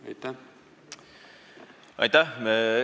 Aitäh!